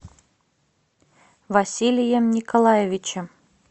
василием николаевичем